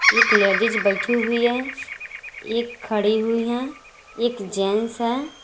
एक लेडिस बैठी हुई हैं एक खड़ी हुई हैं एक जेंट्स हैं।